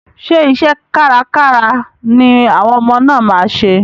Ṣé iṣẹ́ kárkára ni àwọn ọmọ náà máa ṣe?